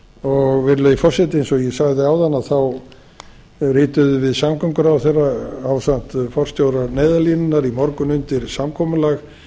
skilaboðum virðulegi forseti eins og ég sagði áðan rituðum við samgönguráðherra ásamt forstjórum neyðarlínunnar í morgun undir samkomulag